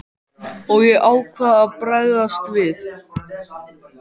Og ég ákvað að bregðast við.